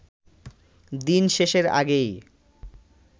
দিন শেষের আগেই